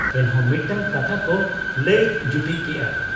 ᱮᱱᱦᱚᱸ ᱢᱤᱫᱴᱟᱹᱝ ᱠᱟᱛᱷᱟᱠᱚ ᱞᱟᱹᱭ ᱡᱩᱴᱤᱡ ᱠᱮᱜ ᱟ ᱾